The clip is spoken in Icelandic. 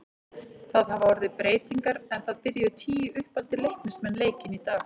Það hafa orðið breytingar en það byrjuðu tíu uppaldir Leiknismenn leikinn í dag.